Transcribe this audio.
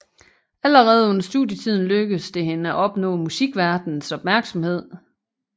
Allerede under studietiden lykkedes det hende at opnå musikverdenens opmærksomhed